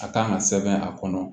A kan ka sɛbɛn a kɔnɔ